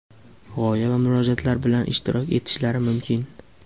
g‘oya va murojaatlari bilan ishtirok etishlari mumkin.